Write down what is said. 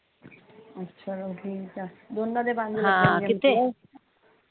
ਅੱਛਾ ਠੀਕ ਆ